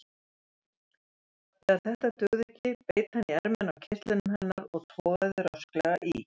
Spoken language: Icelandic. Þegar þetta dugði ekki beit hann í ermina á kyrtlinum hennar og togaði rösklega í.